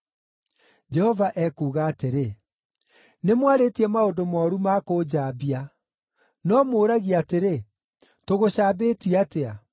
Jehova ekuuga atĩrĩ, “Nĩmwarĩtie maũndũ mooru ma kũnjambia. “No mũũragia atĩrĩ, ‘Tũgũcambĩtie atĩa?’